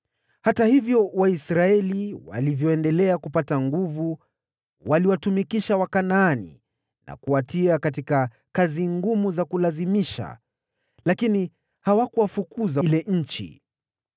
Hata hivyo, Waisraeli walivyoendelea kupata nguvu waliwatumikisha Wakanaani na kuwatia katika kazi za kulazimishwa, lakini hawakuwafukuza kabisa.